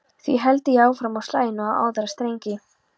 Því héldi ég áfram og slægi nú á aðra strengi: